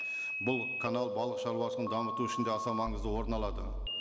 бұл канал балықшаруашылығын дамыту үшін де аса маңызды орын алады